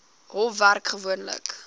hof werk gewoonlik